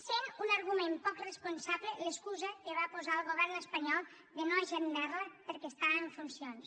i és un argument poc responsable l’excusa que va posar el govern espanyol de no agendar la perquè estava en funcions